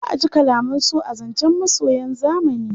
Za a ji kalaman so a zancen masoyan zamani.